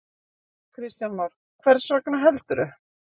Kristján Már: Hvers vegna, heldurðu?